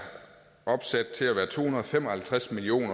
sat til at være to hundrede og fem og halvtreds million